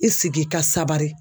I sigi i ka sabari